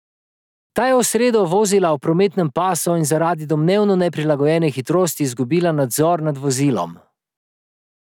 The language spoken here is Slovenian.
Ta je v sredo vozila po prometnem pasu in zaradi domnevno neprilagojene hitrosti izgubila nadzor nad vozilom.